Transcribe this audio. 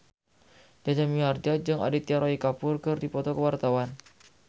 Jaja Mihardja jeung Aditya Roy Kapoor keur dipoto ku wartawan